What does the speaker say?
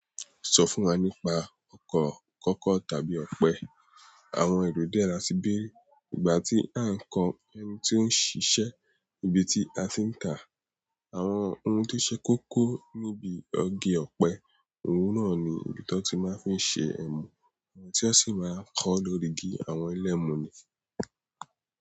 Sọ fún wa nípa ọkọ̀ kọ́kọ́ tàbí ọ̀pẹ. Àwọn èrò dé ra síbèrí ìgbà tí à ń kọ ẹni tí ó ń ṣiṣẹ́ níbi tí a ti ń tà. Àwọn ohun tó ṣe kókó níbi igi ọ̀pẹ, òhun náà ni ibi tí wọ́n ti máa ń fi ṣe ẹmu, tí wọ́n sì máa ń kọ́ lórí igi àwọn ẹlẹ́mu ni.